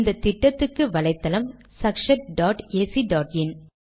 இந்த திட்டத்துக்கு வலைத்தளம் sakshatacஇன்